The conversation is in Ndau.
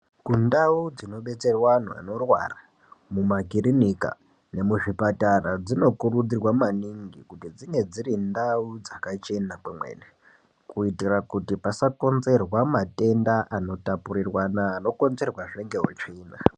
Kundau dzinobetserwa anhu anorwara mumakirinika nemuzvipatara dzinokurudzirwa maningi kuti dzinge dziri ndau dzakachena kwemene kuitira kuti pasakonzerwa matenda anotapurirwana anokonzerwazve ngeutsvina.